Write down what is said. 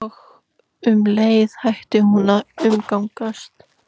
Og um leið hætti hún að umgangast